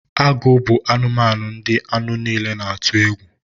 Agụ bụ anụmanụ ndị anụ niile na-atu egwu